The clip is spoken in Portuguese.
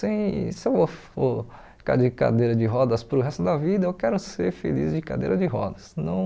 Sem se eu for ficar de cadeira de rodas para o resto da vida, eu quero ser feliz de cadeira de rodas. Não